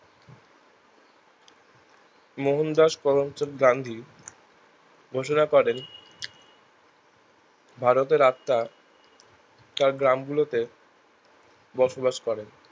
মোহনদাস করমচাঁদ গান্ধী ঘোষণা করেন ভারতের রাস্তা বা গ্রাম গুলোতে বসবাস করেন